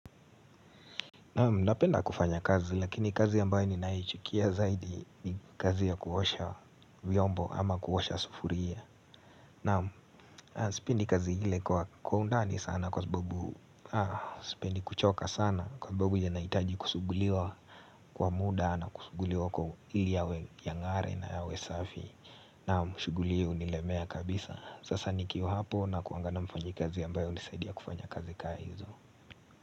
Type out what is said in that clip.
Napenda kufanya kazi, lakini kazi ambayo ninayoichukia zaidi ni kazi ya kuosha vyombo ama kuosha sufuria. Naam, sipendi kazi ile kwa undani sana kwa sababu, ah, sipendi kuchoka sana kwa sababu yenye inahitaji kusuguliwa kwa muda na kusuguliwa kwa ili yawe yang'are na yawe safi. Naam, shughuli hii hunilemea kabisa. Sasa nikiwa hapo nakuanga na mfanyikazi ambaye hunisaidia kufanya kazi kaa hizo.